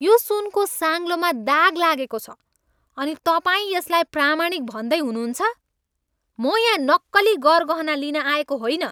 यो सुनको साङ्लोमा दाग लागेको छ अनि तपाईँ यसलाई प्रामाणिक भन्दै हुनुहुन्छ ? म यहाँ नक्कली गरगहना लिन आएको होइन।